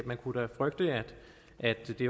man kunne frygte at det